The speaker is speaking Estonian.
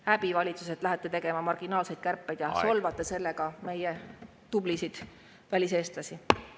Häbi, valitsus, et lähete tegema marginaalseid kärpeid ja solvate sellega meie tublisid väliseestlasi.